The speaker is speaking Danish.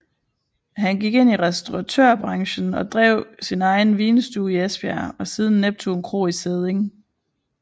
Han gik ind i restauratørbranchen og drev sin egen vinstue i Esbjerg og siden Neptun Kro i Sædding